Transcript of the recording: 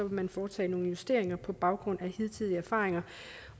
man foretage nogle justeringer på baggrund af hidtidige erfaringer